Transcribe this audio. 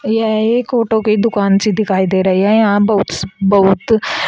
यह एक ऑटो की दुकान सी दिखाई दे रही है यहां बहुत बहुत--